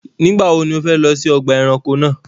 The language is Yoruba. Nígbàwọ̀ ni o fẹ̀ lọ sí ọgba ẹ̀ránkò náà?